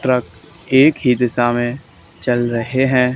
Truck एक ही दिशा में चल रहे हैं।